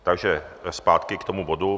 Takže zpátky k tomu bodu.